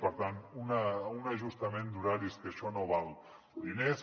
per tant un ajustament d’horaris que això no val diners